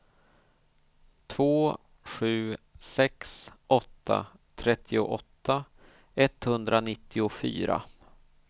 två sju sex åtta trettioåtta etthundranittiofyra